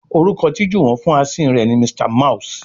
Orúkọ tí Juwon fún Asín rẹ ní Mr mouse.